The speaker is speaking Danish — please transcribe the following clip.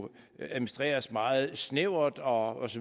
administreres meget snævert og